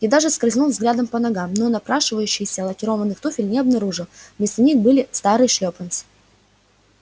я даже скользнул взглядом по ногам но напрашивающихся лакированных туфель не обнаружил вместо них были старые шлёпанцы